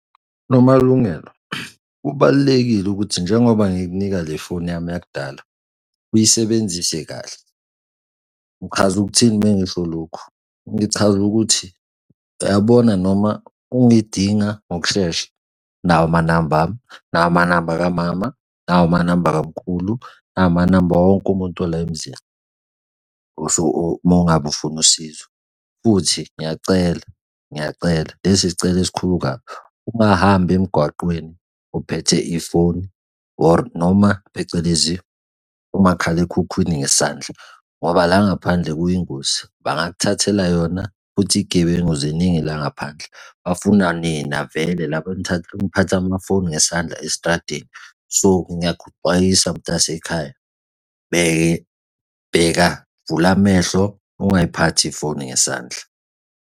Nomalungelo, kubalulekile ukuthi njengoba ngikunika le foni yami yakudala uyisebenzise kahle. Ngichaza ukuthini uma ngisho lokhu? Ngichaza ukuthi, uyabona noma ungidinga ngokushesha, nawa amanamba ami, nawa amanamba ka mama, nawa amanamba kamkhulu, nawa amanamba awo wonke umuntu ola emizini, so uma ngabe ufuna usizo. Futhi ngiyacela, ngiyacela lesi isicelo esikhulu kabi ungahambi emgwaqweni uphethe ifoni or noma phecelezi umakhalekhukhwini ngesandla ngoba la ngaphandle kuyingozi, bangakuthathela yona futhi iy'gebengu ziningi la ngaphandle, bafuna nina vele laba eniphatha amafoni ngesandla esitradeni. So ngiyakuxwayisa mtasekhaya bheka vula amehlo, ungayiphathi ifoni ngesandla.